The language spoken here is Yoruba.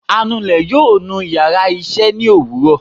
anulè yóò nú íyarà iṣẹ ni owúrò